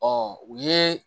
Ɔ u ye